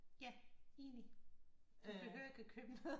Ja enig du behøver ikke at købe noget